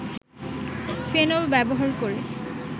phenol ব্যবহার করে